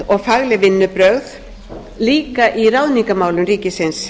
vönduð og fagleg vinnubrögð líka í ráðningarmálum ríkisins